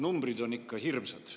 Numbrid on ikka hirmsad.